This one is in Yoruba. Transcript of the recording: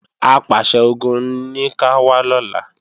Apàṣẹ-Ogun ní ká wá lọ́la